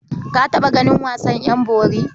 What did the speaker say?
Ka taɓa ganin wasan ƴan bori?